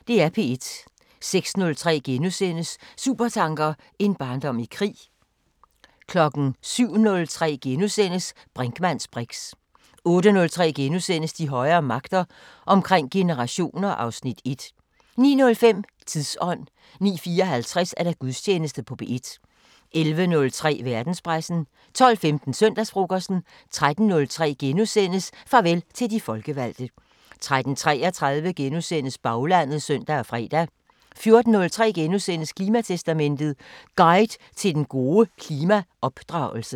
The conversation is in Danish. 06:03: Supertanker: En barndom i krig * 07:03: Brinkmanns briks * 08:03: De højere magter: Omkring generationer (Afs. 1)* 09:05: Tidsånd 09:54: Gudstjeneste på P1 11:03: Verdenspressen 12:15: Søndagsfrokosten 13:03: Farvel til de folkevalgte * 13:33: Baglandet *(søn og fre) 14:03: Klimatestamentet: Guide til den gode klimaopdragelse *